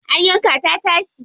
An yanka ta tashi.